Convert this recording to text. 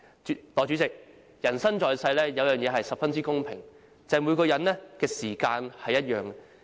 代理主席，人生在世，有一件事是十分公平的，就是每人的時間也相同。